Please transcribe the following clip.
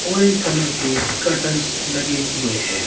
Orange colour के curtain लगे हुए है।